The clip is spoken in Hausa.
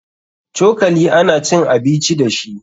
Cokali ana cin abici dashi.